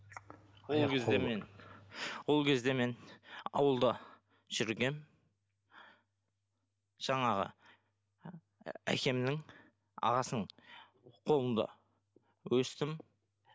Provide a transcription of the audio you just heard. ол кезде мен ол кезде мен ауылда жүргенмін жаңағы әкемнің ағасының қолында өстім